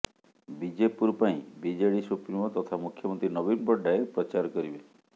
ବିଜେପୁର ପାଇଁ ବିଜେଡ଼ି ସୁପ୍ରିମୋ ତଥା ମୁଖ୍ୟମନ୍ତ୍ରୀ ନବୀନ ପଟ୍ଟନାୟକ ପ୍ରଚାର କରିବେ